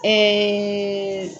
Ɛɛ